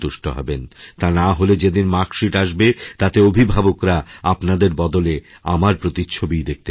তা নাহলে যেদিন মার্কশিট আসবে তাতে অভিভাবকরাআপনাদের বদলে আমার প্রতিচ্ছবিই দেখতে পাবেন